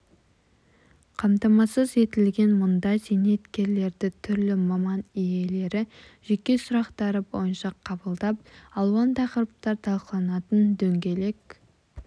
қамтамасыз етілген мұнда зейнеткерлерді түрлі маман иелері жеке сұрақтары бойынша қабылдап алуан тақырыптар талқыланатын дөңгелек